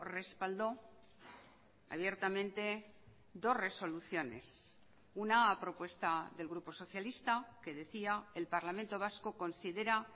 respaldó abiertamente dos resoluciones una a propuesta del grupo socialista que decía el parlamento vasco considera